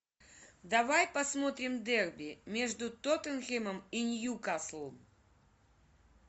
давай посмотрим дерби между тоттенхэмом и ньюкасл